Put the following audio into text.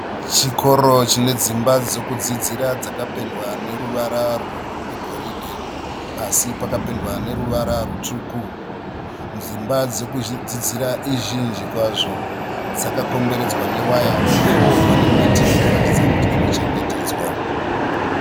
Chikoro chine dzimba dzekudzidzira dzakapendwa reruvara rwegoridhe. Pasi pakapendwa neruvara rwutsvuku. Dzimba dzekudzidzira izhinji kwazvo, dzakakomberedzwa newaya. Uyewo pane miti inotaridza kuti inochengetedzwa.